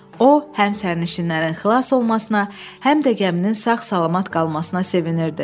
O həm sərnişinlərin xilas olmasına, həm də gəminin sağ-salamat qalmasına sevinirdi.